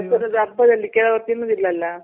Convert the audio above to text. ಅಲ್ಲಿ ಕೆಲವರು ತಿನ್ನೋದಿಲ್ಲ ಅಲ್ಲ?